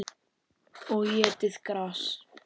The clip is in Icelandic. Og étið gras.